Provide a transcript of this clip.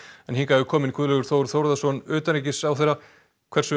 hingað er kominn Guðlaugur Þór Þórðarson utanríkisráðherra hversu